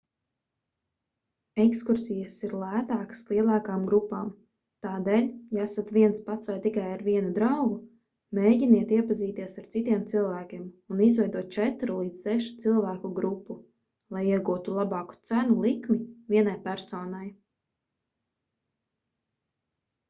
ekskursijas ir lētākas lielākām grupām tādēļ ja esat viens pats vai tikai ar vienu draugu mēģiniet iepazīties ar citiem cilvēkiem un izveidot četru līdz sešu cilvēku grupu lai iegūtu labāku cenu likmi vienai personai